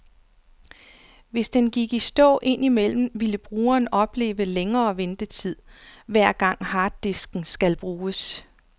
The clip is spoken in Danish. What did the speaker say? Hvis den gik i stå ind imellem, ville brugeren opleve længere ventetid, hver gang harddisken skal bruges.